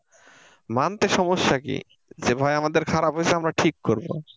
মানতে সমস্যা কি যে ভাই আমাদের খারাপ হয়েছে আমরা ঠিক করব।